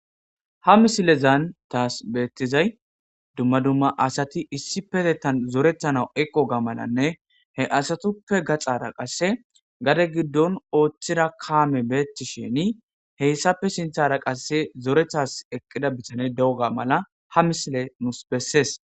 Ha missilezan tasi bettizayi duma duma asati issippetetan zoretanaw eqqoga malanne he asatuppe gaxxara qase gadde giddon othida kammeyi betishinni heyssappe sinththara zoretas eqqida bittane de'ooga malla ha missileyi nusi bessesi.